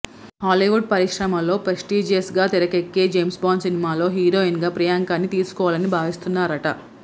Hollywood పరిశ్రమలో prestigious గా తెరకేక్కే జేమ్స్ బాండ్ సినిమాలో హీరోయిన్ గా ప్రియాంక ని తీసుకోవాలని భావిస్తున్నారట